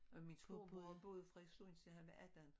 Og min storebror boede i Frederikssund til han var 18